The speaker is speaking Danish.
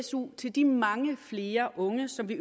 su til de mange flere unge som vi